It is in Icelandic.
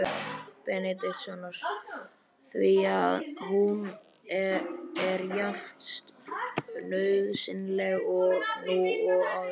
Benediktssonar, því að hún er jafnnauðsynleg nú og áður.